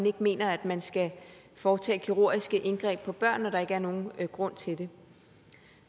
ikke mener at man skal foretage kirurgiske indgreb på børn når der ikke er nogen grund til det